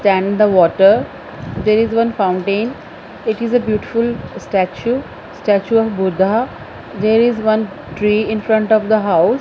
can the water there is one fountain it is a beautiful statue statue of Buddha there is one tree in front of the house.